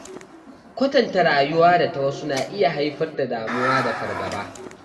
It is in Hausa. Kwatanta rayuwa da ta wasu na iya haifar da damuwa da fargaba.